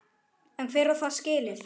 En hver á það skilið?